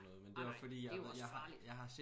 Ej nej nej det jo også farligt